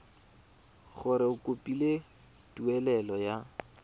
gore o kopile tumelelo ya